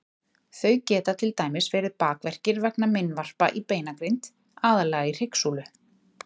Þau geta til dæmis verið bakverkir vegna meinvarpa í beinagrind, aðallega í hryggsúlu.